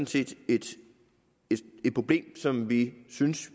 set et problem som vi synes